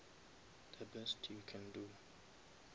the best you can do